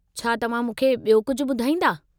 छा तव्हां मूंखे बि॒यो कुझु ॿुधाईंदा?